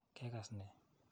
Kekas ne?